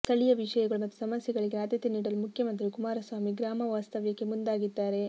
ಸ್ಥಳೀಯ ವಿಷಯಗಳು ಮತ್ತು ಸಮಸ್ಯೆಗಳಿಗೆ ಆದ್ಯತೆ ನೀಡಲು ಮುಖ್ಯಮಂತ್ರಿ ಕುಮಾರಸ್ವಾಮಿ ಗ್ರಾಮ ವಾಸ್ತವ್ಯಕ್ಕೆ ಮುಂದಾಗಿದ್ದಾರೆ